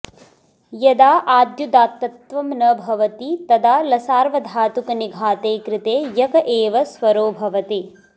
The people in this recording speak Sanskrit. यदा आद्युदात्तत्वं न भवति तदा लसर्वधातुकनिघाते कृते यक एव स्वरो भवति